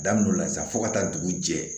Daminɛ o la sa fo ka taa dugu jɛ